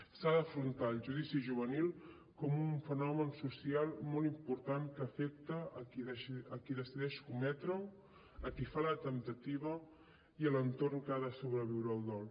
s’ha d’afrontar el suïcidi juvenil com un fenomen social molt important que afecta qui decideix cometre’l a qui fa la temptativa i a l’entorn que ha de sobreviure el dol